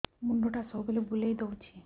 ମୁଣ୍ଡଟା ସବୁବେଳେ ବୁଲେଇ ଦଉଛି